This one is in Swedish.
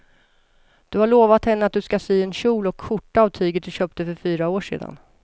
Du har lovat henne att du ska sy en kjol och skjorta av tyget du köpte för fyra år sedan.